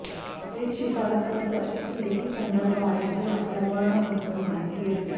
एक शिफारस पत्र एक लेखी संदर्भ आहे जे आपल्या वर्ण बद्दल माहिती देते